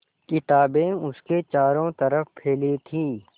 किताबें उसके चारों तरफ़ फैली थीं